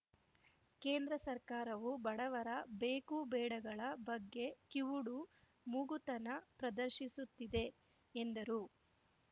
ಕೇಂದ್ರ ಸರ್ಕಾರವು ಬಡವರ ಬೇಕುಬೇಡಗಳ ಬಗ್ಗೆ ಕಿವುಡುಮೂಗತನ ಪ್ರದರ್ಶಿಸುತ್ತಿದೆ ಎಂದರು